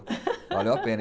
Valeu a pena.